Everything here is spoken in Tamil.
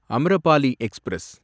அம்ரபாலி எக்ஸ்பிரஸ்